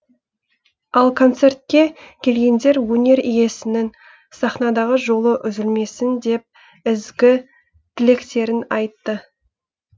ал концертке келгендер өнер иесінің сахнадағы жолы үзілмесін деп ізгі тілектерін айтты